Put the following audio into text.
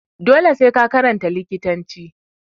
Dole sai ka karanta likitanci